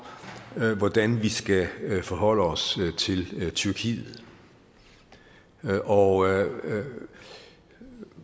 hvordan vi skal forholde os til tyrkiet og